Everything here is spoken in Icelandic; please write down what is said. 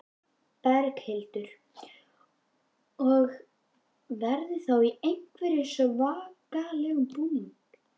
Berghildur: Og verður þá í einhverjum svakalegum búning?